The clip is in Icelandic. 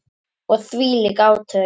Og þvílík átök.